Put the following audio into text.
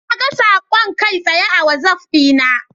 Naga saƙon kai tsaye a wazaf dina.